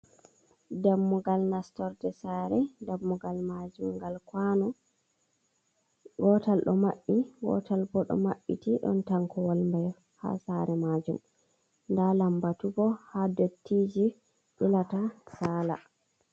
Dammugal nastorde saare, dammugal maajum ngal kwano, wotal ɗo maɓɓi, wotal bo ɗo maɓɓiti, ɗon tankowal mai ha saare maajum nda lambatu bo ha dottiji ilata saala.